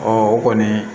o kɔni